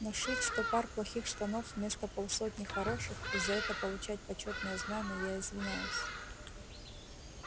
но шить сто пар плохих штанов вместо полсотни хороших и за это получать почётное знамя я извиняюсь